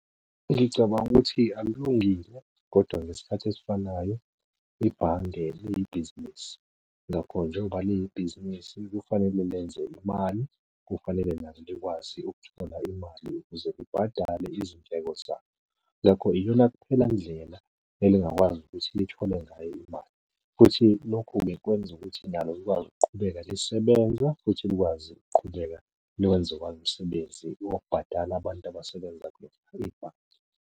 Ngicabanga ukuthi akulungile, kodwa ngesikhathi esifanayo, ibhange liyibhizinisi. Ngakho-ke njengoba liyibhizinisi kufanele lenze imali, kufanele nalo likwazi ukuthola imali ukuze libhadale izindleko zalo. Ngakho iyona kuphela ndlela elingakwazi ukuthi lithole ngayo imali, futhi lokhu kwenza ukuthi nalo likwazi ukuqhubeka lisebenza futhi likwazi ukuqhubeka nokwenze kwalo umisebenzi wokubhadala abantu abasebenza .